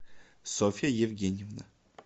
софья евгеньевна